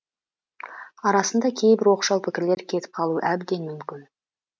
арасында кейбір оқшау пікірлер кетіп қалуы әбден мүмкін